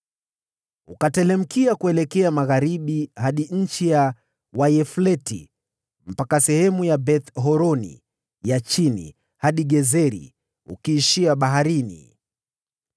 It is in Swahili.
ukateremkia kuelekea magharibi hadi eneo la Wayafleti ukienea hadi eneo la Beth-Horoni ya Chini hadi Gezeri, ukiishia baharini.